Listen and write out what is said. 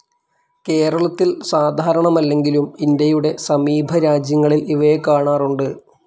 കേരളത്തിൽ സാധാരണമല്ലെങ്കിലും ഇന്ത്യയുടെ സമീപ രാജ്യങ്ങളിൽ ഇവയെ കാണാറുണ്ട്.